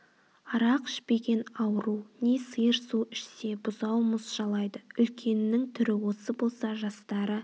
арақ ішпеген ауру не сиыр су ішсе бұзау мұз жалайды үлкеннің түрі осы болса жастары